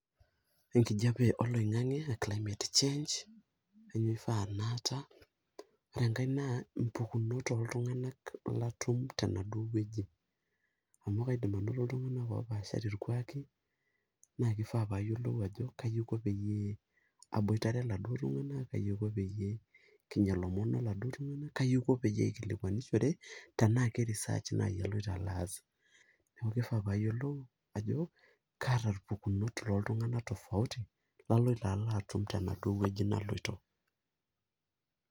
Ekijape oloingange aa climate change nemifaa naata , ore enkae naa impukunot oltunganak latum tenaduo wueji amu kaidim anoto iltunganak opaashari irkuaki naa kifaa payiolou ajo kaji aiko peyie aboitare iladuoo tunganak , kaji aiko peyie kinya ilomon oladuo tunganak , kai aiko peyie aikilikwanishore tenaa keresearch nai aloito alo aas , niaku kifaa payiolou ajo kaata irpukunot looltunganak tofauti tofauti laloito alo atum tenaduo wueji naloito .